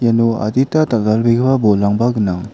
uno adita dal·dalbegipa bolrangba gnang.